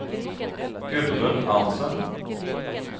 Gudrun Arntzen